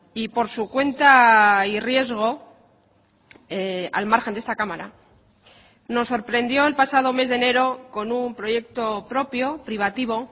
y por su cuenta y riesgo al margen de esta cámara nos sorprendió el pasado mes de enero con un proyecto propio privativo